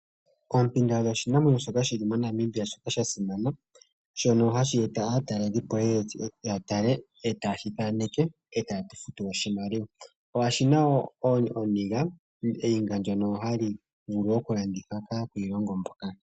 Oompinda odho oshinamwenyo shoka shi li moNamibia shoka sha simana shono hashi eta aatalelipo ye ye yatale etaye shithaneke etaye tufutu oshimaliwa. Oshina wo ooniga ndhono hadhi vulu okulandithwa kaakwiilongo mboka.